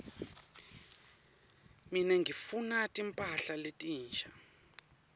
mine ngifuna timphahla letinsha